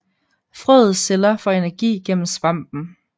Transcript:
Frøets celler får energi gennem svampen